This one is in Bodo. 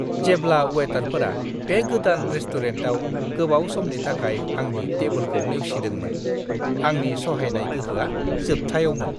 जेब्ला वेटारफोरा बे गोदान रेस्टुरेन्टाव गोबाव समनि थाखाय आंनि टेबोलखौ नेवसिदोंमोन, आंनि सहायनाय गोहोआ जोबथायावमोन!